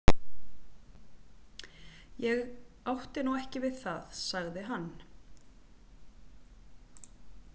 Ég átti nú ekki við það, sagði hann.